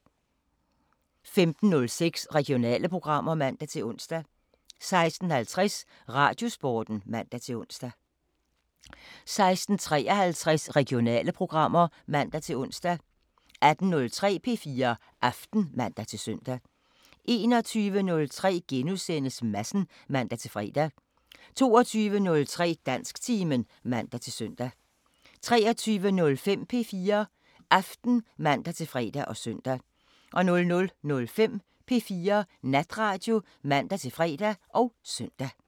15:06: Regionale programmer (man-ons) 16:50: Radiosporten (man-ons) 16:53: Regionale programmer (man-ons) 18:03: P4 Aften (man-søn) 21:03: Madsen *(man-fre) 22:03: Dansktimen (man-søn) 23:05: P4 Aften (man-fre og søn) 00:05: P4 Natradio (man-fre og søn)